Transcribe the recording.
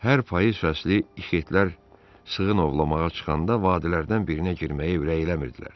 Hər payız fəsli ixetlər sığın ovlamağa çıxanda vadilərdən birinə girməyə ürək eləmirdilər.